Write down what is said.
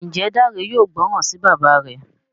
Njé Dare yóò gbóròn sí bàbá rẹ?